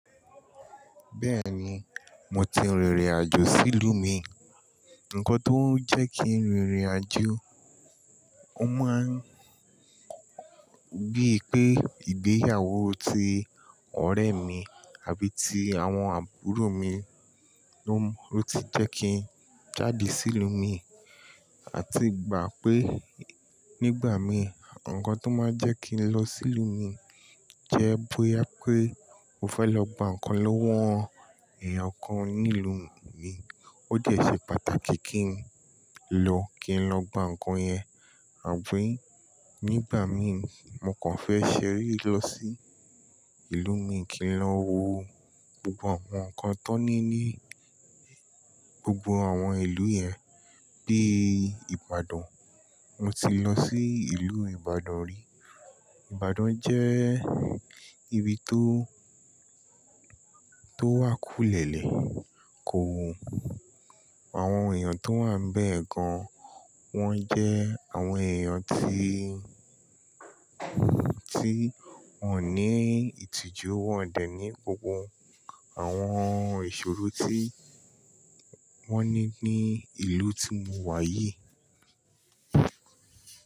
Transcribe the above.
Bẹ́ẹ̀ni, mo ti rìnrìn àjò sí ìlú mi. Ǹkan tó ń jẹ́ kí n rìnrìn àjò, ó máa ń bíi pé ìgbéyàwó ti ọ̀rẹ́ mi àbí ti àwọn àbúrò mi ló ti jẹ́ kí n jáde sí ìlú míì. À ti gbà pé nígbà míì, ǹkan tó máa ń jẹ́ kí n lọ sí ìlú mi jẹ́ bóyá pé mo fẹ́ lọ gba nǹkan lọ́wọ́ èèyàn kan ní ìlú mi. Ó ti ẹ̀ ṣe pàtàkì kí n lọ, kí n lọ gba nǹkan yẹn. Àbí nígbà míì, mo kàn fẹ́ ṣeré lọ sí ìlú mi, kí n lọ wo gbogbo àwọn nǹkan tón ní ní gbogbo àwọn ìlú yẹn bíi Ìbàdàn. Mo ti lọ sí ìlú Ìbàdàn rí. Ìbàdàn jẹ́ ibi tó, tó wá kùlẹ̀lẹ̀ kò wù. Àwọn èèyàn tó wà ń bẹ́ẹ̀ gan, wọ́n jẹ́ àwọn èèyàn ti, tí wọ́n ò ní ìtìjú, wọ́n dẹ̀ ní gbogbo àwọn ìṣòro tí wọ́n ní ní ìlú tí mo wà yìí.